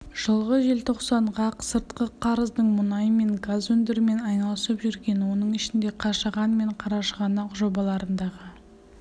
жылғы желтоқсанға сыртқы қарыздың мұнай мен газ өндірумен айналысып жүрген оның ішінде қашаған мен қарашығанақ жобаларындағы